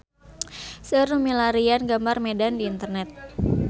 Seueur nu milarian gambar Medan di internet